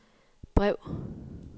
brev